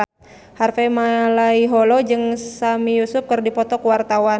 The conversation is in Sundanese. Harvey Malaiholo jeung Sami Yusuf keur dipoto ku wartawan